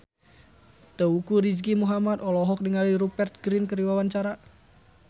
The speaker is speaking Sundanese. Teuku Rizky Muhammad olohok ningali Rupert Grin keur diwawancara